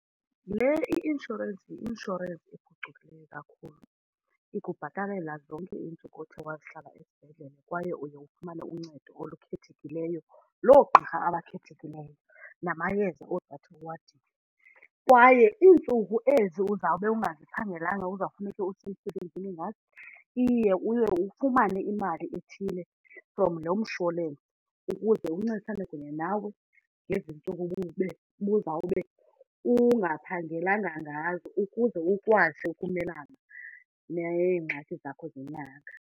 Le i-inshorensi yi-inshorensi ephucukileyo. Ikubhatalela zonke iintsuku othe wazihlala esibhedlele kwaye uye ufumane uncedo olukhethekileyo loogqirha abakhethekileyo namayeza ozawuthi uwadinge. Kwaye iintsuku ezi uzawube ungaziphangelanga uzawufuneke usemsebenzini ngazo iye uye ufumane imali ethile from lo msholensi ukuze uncedisane kunye nawe ngezi ntsuku ube ubuzawube ungaphangelanga ngazo, ukuze ukwazi ukumelana neengxaki zakho zenyanga.